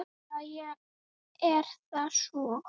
Jæja, er það svo?